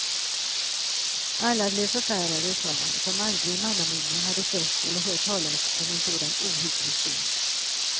Alla blev förfärade och sa att de aldrig i mannaminne hade sett eller hört talas om en sådan ohygglig syn.